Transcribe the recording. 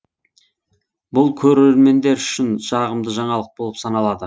бұл көрермендер үшін жағымды жаңалық болып саналады